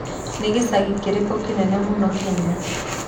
Nĩ gĩcagi kĩrĩkũ kĩnene mũno Kenya?